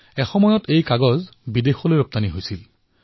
এটা সময় আছিল যেতিয়া কাগজৰ ৰপ্তানি কৰা হৈছিল